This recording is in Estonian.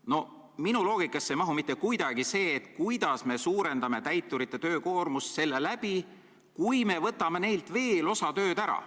No minu loogika seda kinni ei võta, kuidas me suurendame täiturite töökoormust, kui me võtame neilt veel osa tööd ära.